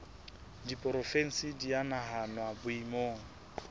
diporofensi di a nahanwa boemong